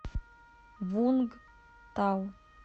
вунгтау